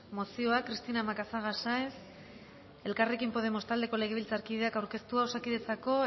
mozioa cristina macazaga sáenz elkarrekin podemos taldeko legebiltzarkideak aurkeztua osakidetzako